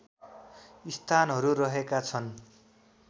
स्थानहरू रहेका छ्न्